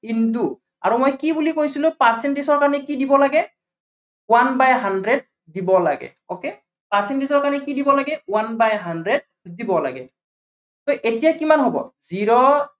into আৰু মই কি বুলি কৈছিলো percentage ক আমি কি দিব লাগে one by hudred দিব লাগে, okay, percentage ক আমি কি দিব লাগে। one by hundred দিব লাগে। so এতিয়া কিমান